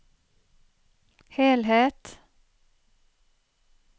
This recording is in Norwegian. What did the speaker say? helhet